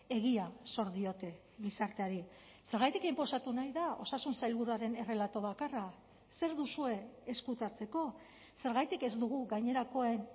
egia zor diote gizarteari zergatik inposatu nahi da osasun sailburuaren errelato bakarra zer duzue ezkutatzeko zergatik ez dugu gainerakoen